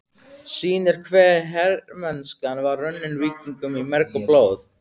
sýnir hve hermennskan var runnin víkingum í merg og blóð.